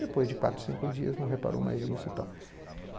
Depois de quatro, cinco dias, não reparou mais nisso e tal.